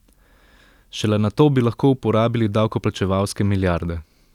Šele nato bi lahko uporabili davkoplačevalske milijarde.